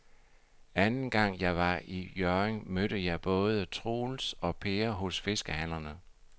Anden gang jeg var i Hjørring, mødte jeg både Troels og Per hos fiskehandlerne.